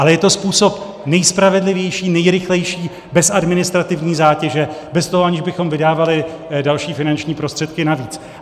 Ale je to způsob nejspravedlivější, nejrychlejší, bez administrativní zátěže, bez toho, že bychom vydávali další finanční prostředky navíc.